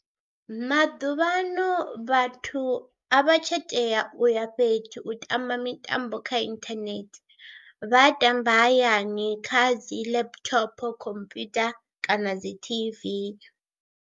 Maḓuvhaano vhathu a vha tsha tea u ya fhethu u tamba mitambo kha inthanethe vha tamba hayani kha dzi laptop, computer kana dzi T_V.